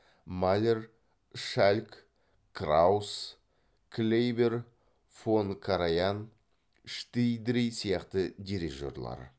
малер шальк краус клейбер фон караян штидри сияқты дирижерлар